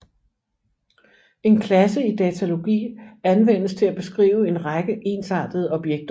En klasse i datalogi anvendes til at beskrive en række ensartede objekter